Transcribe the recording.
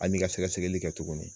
An bi ka sɛgɛsɛgɛli kɛ tuguni.